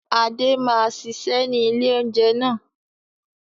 Adé máa ṣiṣẹ́ ni ilé oúnjẹ náà.